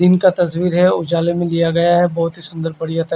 दिन का तस्वीर है उजाले में लिया गया है बोहोत ही सुन्दर बढ़िया तरी--